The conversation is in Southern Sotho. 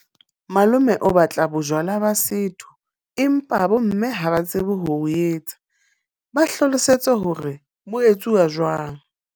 Malome o batla bojwala ba setho, empa bo mme ha ba tsebe ho bo etsa. Ba hlalosetse hore bo etsuwa jwang.